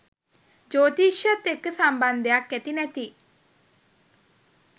ජෝතිෂයත් එක්ක සම්බන්ධයක් ඇති නැති